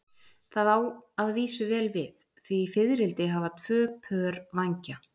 Það á að vísu vel við, því fiðrildi hafa tvö pör vængja.